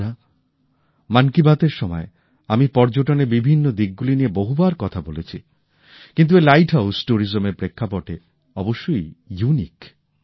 বন্ধুরা মন কি বাতএর সময় আমি পর্যটনের বিভিন্ন দিক গুলি নিয়ে বহুবার কথা বলেছি কিন্তু এই লাইটহাউস ট্যুরিজমের প্রেক্ষাপটে অবশ্যই অনন্য